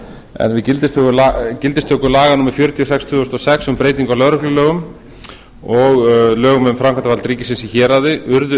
en við gildistöku laga númer fjörutíu og sex tvö þúsund og sex um breytingu á lögreglulögum og lögum um framkvæmdarvald ríkisins í héraði urðu